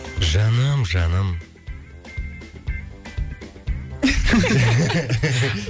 жаным жаным